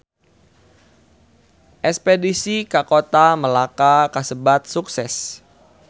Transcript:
Espedisi ka Kota Melaka kasebat sukses